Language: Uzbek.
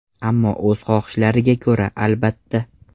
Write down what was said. Ammo o‘z xohishlariga ko‘ra, albatta.